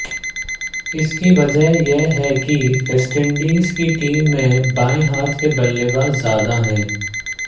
इसकी वजह यह है कि वेस्टइंडीज की टीम में बाएं हाथ के बल्लेबाज ज्यादा हैं